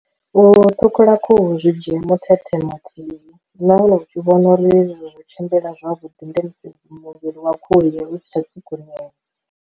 U ṱhukhula khuhu zwi dzhie muthethe mathihi, na hone u tshi vhona uri hezwi zwo tshimbila zwavhuḓi ndi musi muvhili wa khuhu eyo u si tsha tswukunyea.